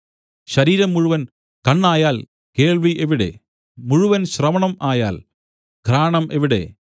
ശരീരം മുഴുവൻ കണ്ണായാൽ കേൾവി എവിടെ മുഴുവൻ ശ്രവണം ആയാൽ ഘ്രാണം എവിടെ